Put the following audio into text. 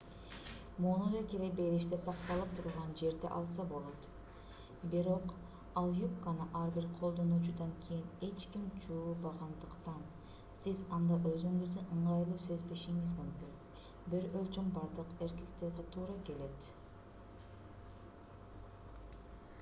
муну да кире бериште сакталып турган жерден алса болот бирок ал юбканы ар бир колдонуучудан кийин эч ким жуубагандыктан сиз анда өзүңүздү ыңгайлуу сезбешиңиз мүмкүн бир өлчөм бардык эркектерге туура келет